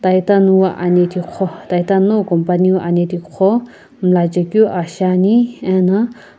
Titan wu anethi kukho Titan nowu company anethi kukho munachekiu aa shi ani eno.